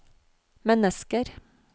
mennesker